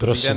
Prosím.